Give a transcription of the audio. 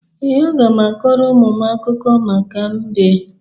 Ee, aga m akọrọ ụmụ m akụkọ maka mbe